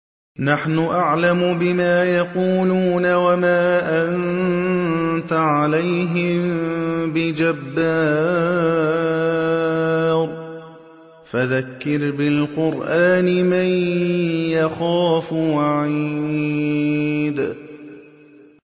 نَّحْنُ أَعْلَمُ بِمَا يَقُولُونَ ۖ وَمَا أَنتَ عَلَيْهِم بِجَبَّارٍ ۖ فَذَكِّرْ بِالْقُرْآنِ مَن يَخَافُ وَعِيدِ